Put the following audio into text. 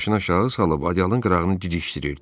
Ovod başını aşağı salıb ədalın qırağını didişdirirdi.